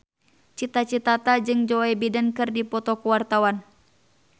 Cita Citata jeung Joe Biden keur dipoto ku wartawan